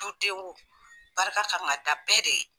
Du den o barika kan ka da bɛɛ de ye.